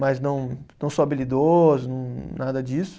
Mas não, não sou habilidoso, nada disso.